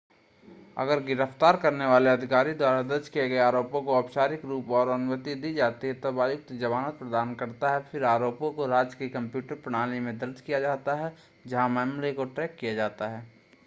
अगर गिरफ़्‍तार करने वाले अधिकारी द्वारा दर्ज किए गए आरोपों को औपचारिक रूप और अनुमति दी जाती है तब आयुक्त जमानत प्रदान करता है. फिर आरोपों को राज्य की कंप्यूटर प्रणाली में दर्ज किया जाता है जहाँ मामले को ट्रैक किया जाता है